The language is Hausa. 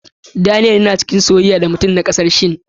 Daniela tana a cikin sosaiya da mutumin naƙasasshe.